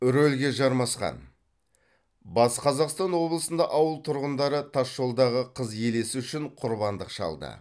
рөлге жармасқан батыс қазақстан облысында ауыл тұрғындары тас жолдағы қыз елесі үшін құрбандық шалды